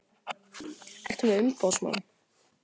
Ertu með umboðsmann?